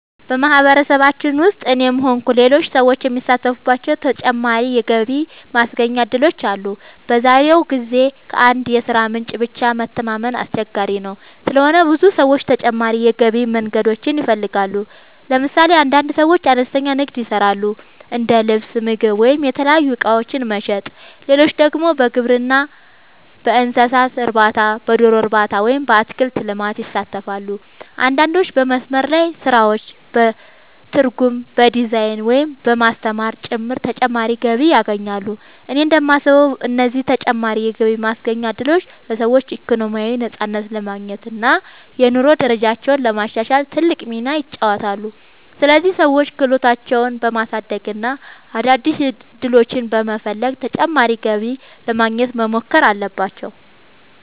በማህበረሰባችን ውስጥ እኔም ሆንኩ ሌሎች ሰዎች የሚሳተፉባቸው ተጨማሪ የገቢ ማስገኛ እድሎች አሉ። በዛሬው ጊዜ ከአንድ የሥራ ምንጭ ብቻ መተማመን አስቸጋሪ ስለሆነ ብዙ ሰዎች ተጨማሪ የገቢ መንገዶችን ይፈልጋሉ። ለምሳሌ አንዳንድ ሰዎች አነስተኛ ንግድ ይሰራሉ፤ እንደ ልብስ፣ ምግብ ወይም የተለያዩ እቃዎች መሸጥ። ሌሎች ደግሞ በግብርና፣ በእንስሳት እርባታ፣ በዶሮ እርባታ ወይም በአትክልት ልማት ይሳተፋሉ። አንዳንዶች በመስመር ላይ ስራዎች፣ በትርጉም፣ በዲዛይን፣ ወይም በማስተማር ጭምር ተጨማሪ ገቢ ያገኛሉ። እኔ እንደማስበው እነዚህ ተጨማሪ የገቢ ማስገኛ እድሎች ለሰዎች ኢኮኖሚያዊ ነፃነት ለማግኘት እና የኑሮ ደረጃቸውን ለማሻሻል ትልቅ ሚና ይጫወታሉ። ስለዚህ ሰዎች ክህሎታቸውን በማሳደግ እና አዳዲስ ዕድሎችን በመፈለግ ተጨማሪ ገቢ ለማግኘት መሞከር አለባቸው።